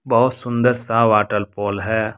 बहुत सुंदर सा वॉटर फॉल है।